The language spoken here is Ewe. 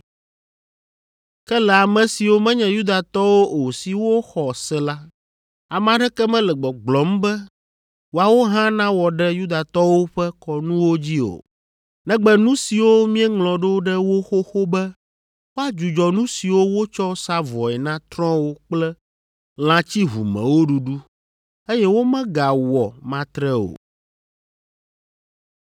“Ke le ame siwo menye Yudatɔwo o siwo xɔ se la, ame aɖeke mele gbɔgblɔm be woawo hã nawɔ ɖe Yudatɔwo ƒe kɔnuwo dzi o, negbe nu siwo míeŋlɔ ɖo ɖe wo xoxo be woadzudzɔ nu siwo wotsɔ sa vɔe na trɔ̃wo kple lã tsiʋumewo ɖuɖu, eye womegawɔ matre o.”